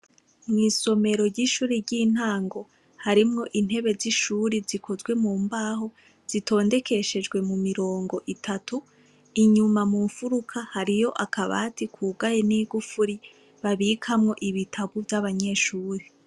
Mw'isomero ry'ishure ry'intango harimwo intebe z'ishure zikozwe mu mbaho, zitondekeshejwe mu mirongo itatu, inyuma mu mfuruka hariyo akabati kugaye n'igufuri, babikamwo ibitabo vy'abanyeshure.